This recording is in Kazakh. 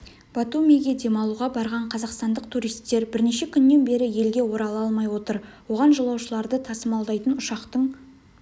батумиге демалуға барған қазақстандық туристер бірнеше күннен бері елге орала алмай отыр оған жолаушыларды тасымалдайтын ұшақтың